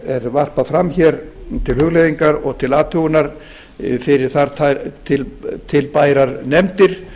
er varpað fram til hugleiðingar og til athugunar fyrir tvær tilbærar nefndir